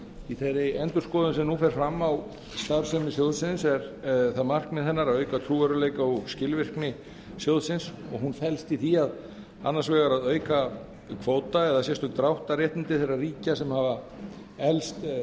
í þeirri endurskoðun sem nú fer fram á starfsemi sjóðsins er það markmið hennar að auka trúverðugleika og skilvirkni sjóðsins og hún felst í því annars vegar að auka kvóta sérstök dráttarréttindi þeirra ríkja sem hafa eflst